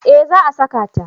Eh za a saka ta